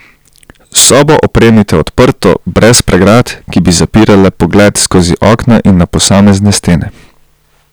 Sobo opremite odprto, brez pregrad, ki bi zapirale pogled skozi okna in na posamezne stene.